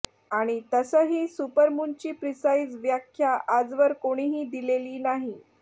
आणि तसंही सुपरमूनची प्रिसाईज व्याख्या आजवर कोणीही दिलेली नाही